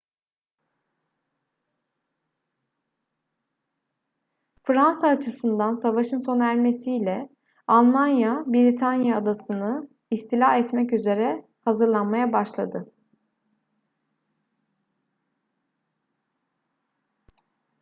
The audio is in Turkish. fransa açısından savaşın sona ermesiyle almanya britanya adasını istila etmek üzere hazırlanmaya başladı